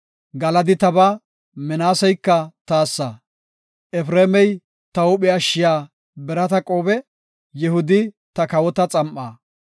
Galadi tabaa; Minaaseyka taassa; Efreemey ta huuphe ashshiya birata qoobe; Yihudi ta kawota xam7aa.